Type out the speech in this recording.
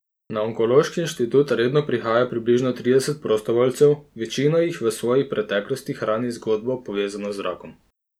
Na onkološki inštitut redno prihaja približno trideset prostovoljcev, večina jih v svoji preteklosti hrani zgodbo povezano z rakom.